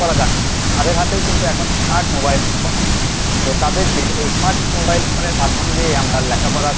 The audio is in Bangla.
লেখাপড়া জানেনা তাদের হাতেও কিন্তু এখন smart mobile phone আছে। তো তাদেরকে এই smart mobile phone এর মাধ্যম দিয়েই আমরা লেখাপড়া